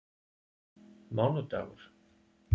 mánudagur